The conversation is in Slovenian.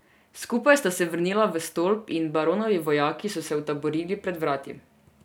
Skupaj sta se vrnila v stolp in baronovi vojaki so se utaborili pred vrati.